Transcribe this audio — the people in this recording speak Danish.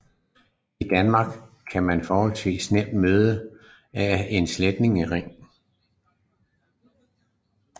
I Danmark kan man forholdsvis nemt møde en af dens slægtninge